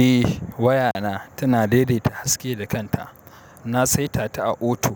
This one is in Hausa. Eh waya na tana daidaita haske da kanta. Na saita ta a auto.